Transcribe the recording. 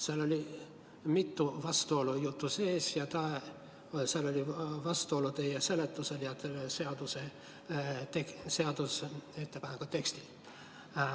Seal oli mitu vastuolu, ja vastuolu oli ka teie seletuse ja seadusettepaneku teksti vahel.